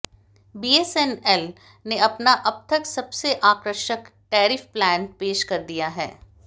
BSNL ने अपना अब तक सबसे आकर्षक टैरिफ प्लान पेश कर दिया है